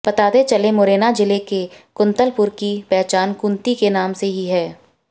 बताते चलें मुरैना जिले के कुतंलपुर की पहचान कुंती के नाम से ही है